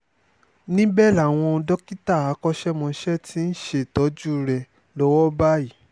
níbẹ̀ làwọn dókítà akọ́ṣẹ́mọṣẹ́ ti ń ṣètọ́jú rẹ̀ lọ́wọ́ báyìí